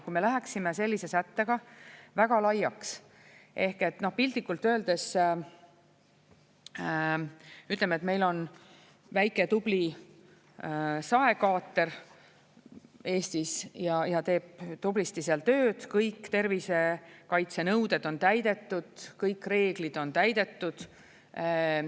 Kui me läheksime sellise sättega väga laiaks ehk piltlikult öeldes, ütleme, et meil on väike tubli saekaater Eestis ja teeb tublisti tööd, kõik tervisekaitsenõuded on täidetud, kõik reeglid on täidetud.